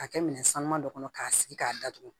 K'a kɛ minɛn sanuma dɔ kɔnɔ k'a sigi k'a datugu